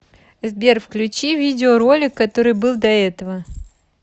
сбер включи видео ролик который был до этого